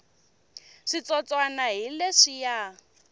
switsotswana hi leswiya